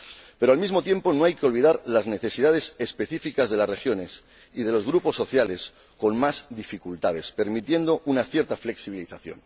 Pero, al mismo tiempo, no hay que olvidar las necesidades específicas de las regiones y de los grupos sociales con más dificultades, por lo que hay que permitir una cierta flexibilidad.